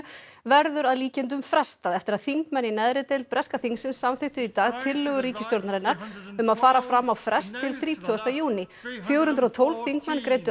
verður að líkindum frestað eftir að þingmenn í neðri deild breska þingsins samþykktu í dag tillögu ríkisstjórnarinnar að fara fram á frest til þrítugasta júní fjögur hundruð og tólf þingmenn greiddu